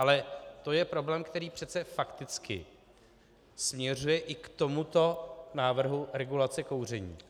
Ale to je problém, který přece fakticky směřuje i k tomuto návrhu regulace kouření.